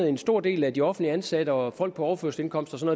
en stor del af de offentligt ansatte og folk på overførselsindkomster og